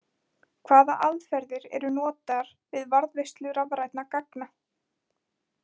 Hvaða aðferðir eru notaðar við varðveislu rafrænna gagna?